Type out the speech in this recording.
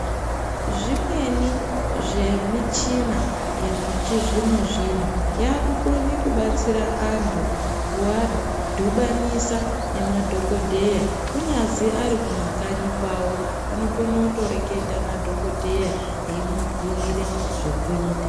Zvimweni zvemichina yechizvino-zvino yakukone kubatsira antu kuvadhubanisa nemadhogodheya. Kunyazi ari kumakanyi kwavo anokone kutoreketa nadhogodheya emubhuire zvekuita.